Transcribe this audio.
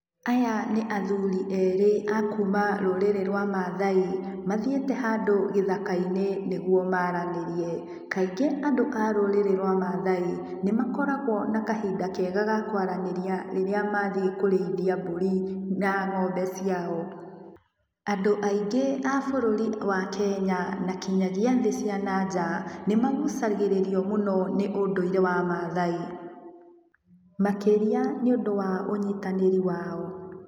Aya nĩ athuri erĩ a kũũma rũrĩrĩ rwa maathai. Mathiĩte handũ gĩthaka-inĩ nĩguo maaranĩrie. Kaingĩ andũ a rũrĩrĩ rwa maathai nĩ makoragũo na kahinda kega ka kũaranĩria rĩrĩa mathiĩ kũrĩithia mbũri na ng'ombe ciao. Andũ aingĩ a bũrũri wa Kenya na kinyagia thĩ cia na nja nĩ magucagĩrĩrio mũno nĩ ũndũire wa maathai. Makĩria nĩ ũndũ wa ũnyitanĩri wao.